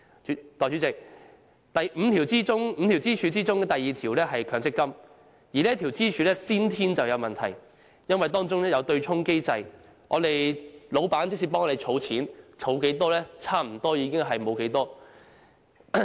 代理主席 ，5 根支柱中的第二根是強積金，而這根支柱存在先天問題，因為當中有對沖機制，即使老闆為我們儲錢，但所儲的差不多被對沖抵銷。